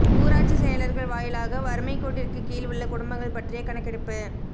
ஊராட்சி செயலர்கள் வாயிலாக வறுமைக் கோட்டிற்கு கீழ் உள்ள குடும்பங்கள் பற்றிய கணக்கெடுப்பு